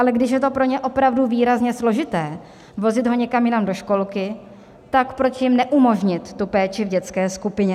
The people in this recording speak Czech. Ale když je to pro ně opravdu výrazně složité vozit ho někam jinam do školky, tak proč jim neumožnit tu péči v dětské skupině?